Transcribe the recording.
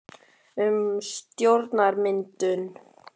Heimir: Hverju spáir þú um stjórnarmyndun?